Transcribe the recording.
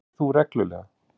Lyftir þú reglulega?